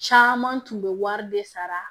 Caman tun bɛ wari de sara